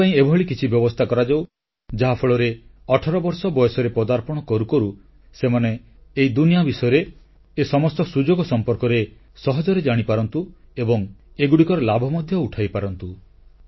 ଏଥିପାଇଁ ଏଭଳି କିଛି ବ୍ୟବସ୍ଥା କରାଯାଉ ଯାହାଫଳରେ 18 ବର୍ଷ ବୟସରେ ପଦାର୍ପଣ କରୁ କରୁ ସେମାନେ ଏହି ଦୁନିଆ ବିଷୟରେ ଏ ସମସ୍ତ ସୁଯୋଗ ସମ୍ପର୍କରେ ସହଜରେ ଜାଣିପାରନ୍ତୁ ଏବଂ ଏଗୁଡ଼ିକର ଲାଭ ମଧ୍ୟ ଉଠାଇପାରନ୍ତୁ